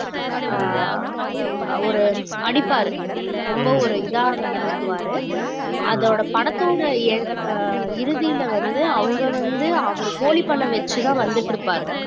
ஆஹ் அவரு அடிப்பாரு ரொம்ப ஒரு இதா நடந்துக்குவாரு அதோட படத்தோட en~ ஆஹ் இறுதியில வந்து அவங்க வந்து அவரு கோழி பண்ணை வச்சுதான் வந்துட்டு இருப்பாரு